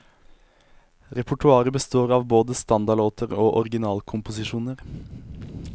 Repertoaret består av både standardlåter og originalkomposisjoner.